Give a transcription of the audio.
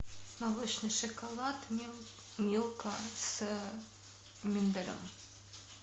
молочный шоколад милка с миндалем